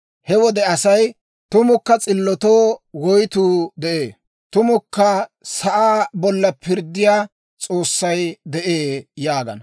He wode asay, «Tumukka s'illotoo woytuu de'ee; tumukka sa'aa bolla pirddiyaa S'oossay de'ee» yaagana.